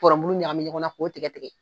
Npɔrɔn bulu ɲagamin ɲɔgɔn na k'o tigɛ tigɛ